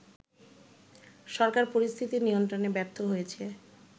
সরকার পরিস্থিতি নিয়ন্ত্রণে ব্যর্থ হয়েছে